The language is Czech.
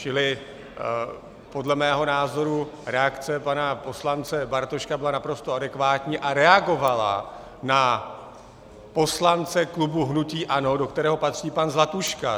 Čili podle mého názoru reakce pana poslance Bartoška byla naprosto adekvátní a reagovala na poslance klubu hnutí ANO, do kterého patří pan Zlatuška.